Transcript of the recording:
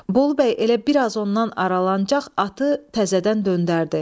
Bolu bəy elə bir az ondan aralanacaq atı təzədən döndərdi.